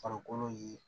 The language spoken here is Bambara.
Farikolo ye